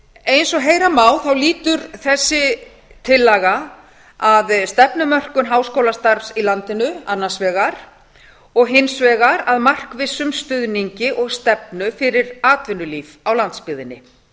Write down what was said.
eins og heyra má lýtur þessi tillaga að stefnumörkun háskólastarfs í landinu annars vegar og hins vegar að markvissum stuðningi og stefnu fyrir atvinnulíf á landsbyggðinni